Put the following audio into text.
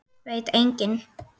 Veit enginn?